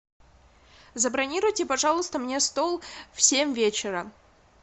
забронируйте пожалуйста мне стол в семь вечера